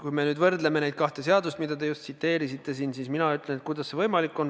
Kui me nüüd võrdleme neid kahte – eelnõu ja seda seadust, mida te just tsiteerisite –, siis ma ütlen, kuidas see võimalik on.